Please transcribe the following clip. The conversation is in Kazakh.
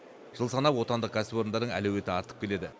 жыл санап отандық кәсіпорындардың әлеуеті артып келеді